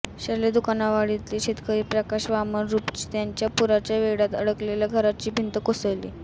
शेर्ले दुकानवाडीतील शेतकरी प्रकाश वामन रूपजी यांच्या पुराच्या वेढात अडकलेल्या घराची भिंत कोसळली